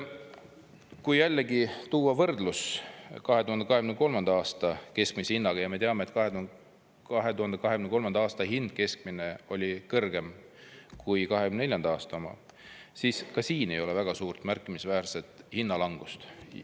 Kui jällegi tuua võrdlus 2023. aasta keskmise hinnaga ja me teame, et 2023. aasta keskmine hind oli kõrgem kui 2024. aasta oma, siis ka siin ei ole väga suurt märkimisväärset hinnalangust.